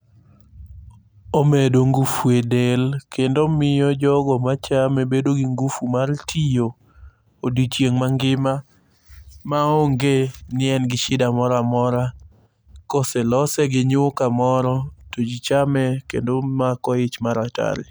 Omedo ngufu edel kendo omiyo jogo machame bedo gi ngufu mar tiyo odiech mangima maonge i en gi shida moro amora. Koselose gi nyuka moro, tojichame kendo omako ich mar atari.